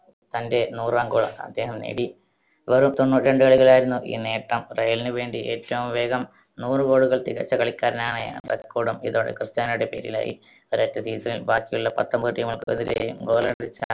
തന്റെ നൂറാം goal അദ്ദേഹം നേടി. വെറും തൊണ്ണൂറ്റിരണ്ട്‌ കളികളിലായിരുന്നു ഈ നേട്ടം. റയലിന് വേണ്ടി ഏറ്റവും വേഗം നൂറ് goal കൾ തികച്ച കളിക്കാരനാണ് record ഉം ഇതോടെ ക്രിസ്റ്റ്യാനോയുടെ പേരിലായി. ഒരൊറ്റ season ൽ ബാക്കിയുള്ള പത്തൊൻപത് team കൾക്കുമെതിരെയും goal അടിച്ച